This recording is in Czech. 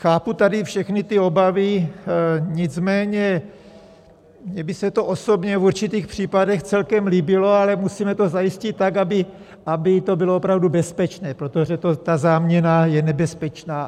Chápu tady všechny ty obavy, nicméně mně by se to osobně v určitých případech celkem líbilo, ale musíme to zajistit tak, aby to bylo opravdu bezpečné, protože ta záměna je nebezpečná.